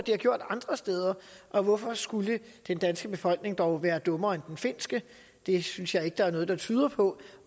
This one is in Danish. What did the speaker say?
har gjort andre steder og hvorfor skulle den danske befolkning dog være dummere end den finske det synes jeg ikke der er noget der tyder på